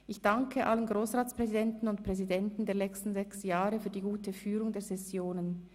Ich danke allen Grossratspräsidentinnen und präsidenten der letzten 6 Jahre für die gute Führung der Sessionen.